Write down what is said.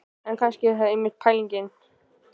En kannski er það einmitt pælingin.